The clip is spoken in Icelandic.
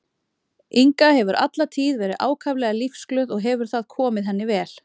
Inga hefur alla tíð verið ákaflega lífsglöð og hefur það komið henni vel.